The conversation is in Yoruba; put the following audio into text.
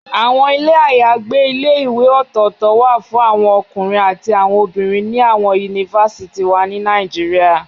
Awọn ile ayagbe ìlé-ìwé ọtọ-ọtọ wa fun awọn ọkunrin ati awọn obinrin ni awọn Yunifásítì wa ni Nàìjíríà